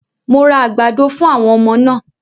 Mo ra àgbàdo fún àwọn ọmọ náà